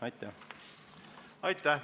Aitäh!